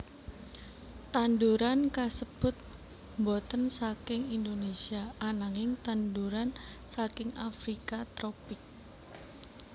Tanduran kasébut boten saking Indonesia ananging tanduran saking Afrika tropik